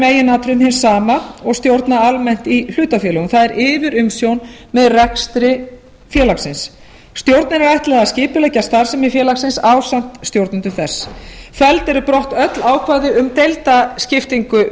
meginatriðum hið sama og stjórna almennt í hlutafélag það er yfirumsjón með rekstri félagsins stjórninni er ætlað að skipuleggja starfsemi félagsins ásamt stjórnendum þess felld eru brott öll ákvæði um deildaskiptingu